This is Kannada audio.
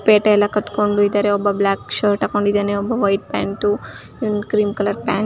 ಪೇಟೆ ಎಲ್ಲಾ ಕಟ್ಕೊಂಡು ಇದ್ದಾರೆ ಒಬ್ಬ ಬ್ಲ್ಯಾಕ್ ಶರ್ಟ್ ಹಾಕೊಂಡಿದ್ದಾನೆ. ಒಬ್ಬ white pant cream colour pant --